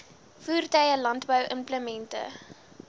voertuie landbou implemente